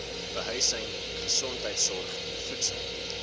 behuising gesondheidsorg voedsel